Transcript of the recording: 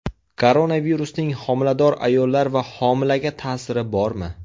Koronavirusning homilador ayollar va homilaga ta’siri bormi?